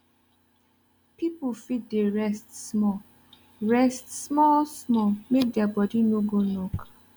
pipu fit dey rest small rest small small make dia bodi no go knock